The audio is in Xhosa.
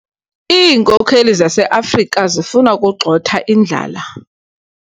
Iinkokeli zaseAfrika zifuna ukugxotha indlala.